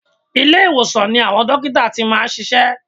Ilé ìwòsan ni àwọn dókítà ti máa ń ṣiṣẹ́.